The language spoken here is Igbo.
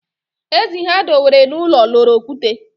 Ezi ha dewere n'ụlọ loro okwute